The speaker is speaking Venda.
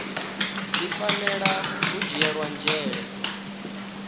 dzi fanela u dzhielwa nzhele